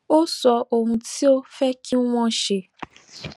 ó sọ ohun tó fé kí wón ṣe